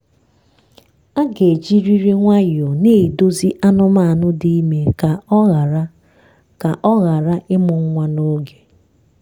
a ga ejirịrị nwayọọ na-edozi anụmanụ dị ime ka ọ ghara ka ọ ghara ịmụ nwa n'oge.